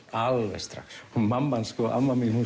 alveg strax mamma hans amma mín